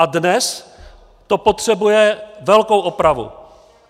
A dnes to potřebuje velkou opravu.